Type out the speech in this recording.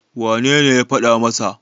wanene ya faɗa masa?